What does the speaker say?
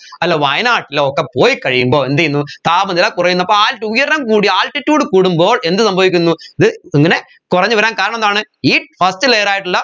അല്ല വായനാട്ടിലോ ഒക്കെ പോയിക്കഴിയുമ്പോൾ എന്തുചെയ്യുന്നു താപനില കുറയുന്നു അപ്പോ ആ ഉയരം കൂടിയ altitude കൂടുമ്പോൾ എന്ത് സംഭവിക്കുന്നു ഇത് ഇങ്ങനെ കുറഞ്ഞ് വരാൻ കാരണമെന്താണ് ഈ first layer ആയിട്ടുള്ള